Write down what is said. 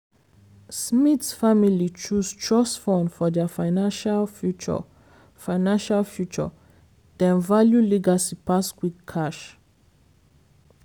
smith family choose trust fund for dia financial future financial future dem value legacy pass quick cash.